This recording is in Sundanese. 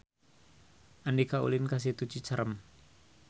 Andika ulin ka Situ Cicerem